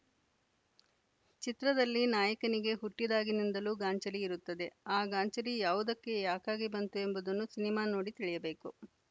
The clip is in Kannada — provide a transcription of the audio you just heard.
ಚಿತ್ರದಲ್ಲಿ ನಾಯಕನಿಗೆ ಹುಟ್ಟಿದಾಗಿನಿಂದಲೂ ಗಾಂಚಲಿ ಇರುತ್ತದೆ ಆ ಗಾಂಚಲಿ ಯಾವುದಕ್ಕೆ ಯಾಕಾಗಿ ಬಂತು ಎಂಬುದನ್ನು ಸಿನಿಮಾ ನೋಡಿ ತಿಳಿಯಬೇಕು